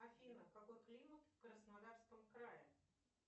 афина какой климат в краснодарском крае